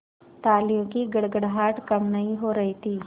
तालियों की गड़गड़ाहट कम नहीं हो रही थी